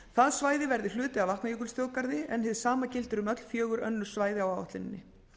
það svæði verði hluti af vatnajökulsþjóðgarði en hið sama gildir um fjögur önnur svæði á áætluninni